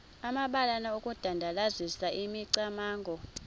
amabalana okudandalazisa imicamango